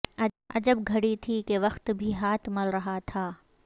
عجب گھڑی تھی کہ وقت بھی ہاتھ مل رہا تھا